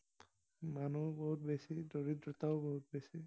মানুহো বহুত বেছি, দৰিদ্ৰতাও বহুত বেছি।